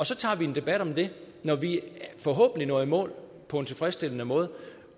så tager vi en debat om det når vi forhåbentlig når i mål på en tilfredsstillende måde